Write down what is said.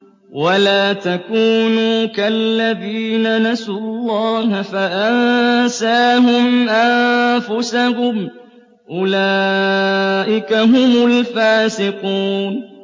وَلَا تَكُونُوا كَالَّذِينَ نَسُوا اللَّهَ فَأَنسَاهُمْ أَنفُسَهُمْ ۚ أُولَٰئِكَ هُمُ الْفَاسِقُونَ